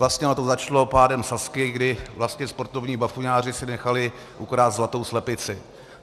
Vlastně ono to začalo pádem Sazky, kdy vlastně sportovní bafuňáři si nechali ukrást zlatou slepici.